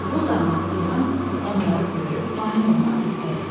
Bu zaman ilan onları görüb mane olmaq istəyir.